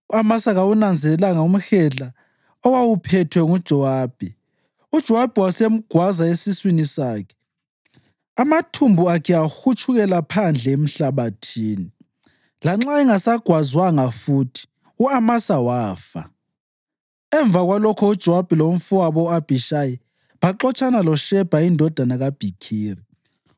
U-Amasa kawunanzelelanga umhedla owawuphethwe nguJowabi, uJowabi wasemgwaza esiswini sakhe, amathumbu akhe ahutshukela phandle emhlabathini. Lanxa engasagwazwanga futhi, u-Amasa wafa. Emva kwalokho uJowabi lomfowabo u-Abhishayi baxotshana loShebha indodana kaBhikhiri.